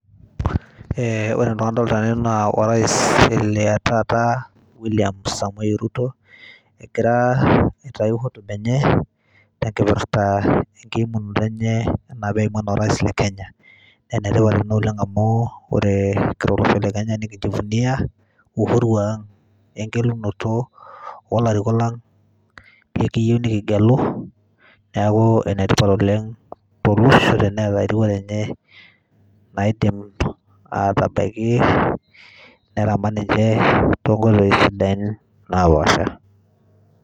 Ore tene adolita orais le taata William Samoei Ruto. egira aitayu hotuba eneye, te nkipirta enkiimunoto enye anaa neimu anaa orais le Kenya naa enetipat ina oleng amuu ore te Kenya nikinjivunia uhuru ang' we ngelunoto oo larikok lang likiyieu nikigelu neaku enetipa oleng to losho te neeta erikore enye naidim aatabaiki neramat ninye toonkoitoi sidain naa paasha